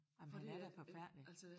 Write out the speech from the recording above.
Ej men han er da forfærdelig